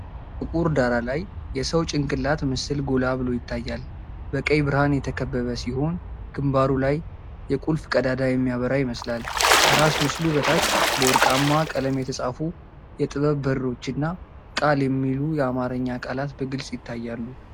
ጥቁር ዳራ ላይ የሰው ጭንቅላት ምስል ጎላ ብሎ ይታያል። በቀይ ብርሃን የተከበበ ሲሆን ግንባሩ ላይ የቁልፍ ቀዳዳ የሚያበራ ይመስላል። ከራስ ምስሉ በታች፣ በወርቃማ ቀለም የተጻፉት “የጥበብ በሮች” እና “ቃል” የሚሉ የአማርኛ ቃላት በግልፅ ይታያሉ።